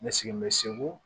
N sigibɛ segu